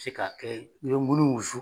se ka i bɛ munnu wusu.